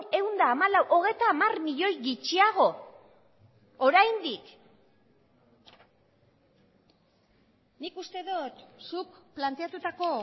ehun eta hamalau hogeita hamar milioi gutxiago oraindik nik uste dut zuk planteatutako